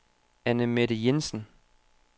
Annemette Jensen